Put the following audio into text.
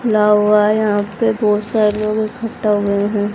खुला हुआ है यहां पे बहोत सारे लोग इकट्ठा हुए हैं।